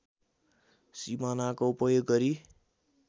सिमानाको उपयोग गरी